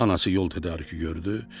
Anası yol tədarükü gördü.